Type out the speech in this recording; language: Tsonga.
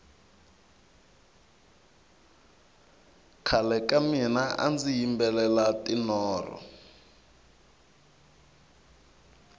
khale ka mina andzi yimbelela tinoro